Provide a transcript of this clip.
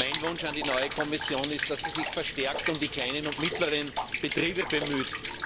Mein Wunsch an die neue Kommission ist, dass sie sich verstärkt um die kleinen und mittleren Betriebe bemüht.